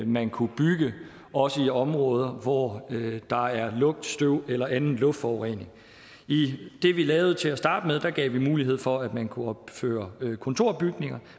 man kunne bygge også i områder hvor der er lugt støv eller anden luftforurening i det vi lavede til at starte med gav vi mulighed for at man kunne opføre kontorbygninger